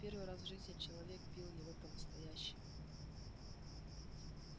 в первый раз в жизни человек бил его по настоящему